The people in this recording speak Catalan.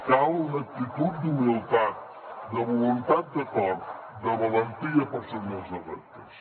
cal una actitud d’humilitat de voluntat d’acord de valentia per assumir els reptes